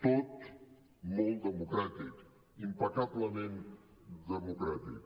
tot molt democràtic impecablement democràtic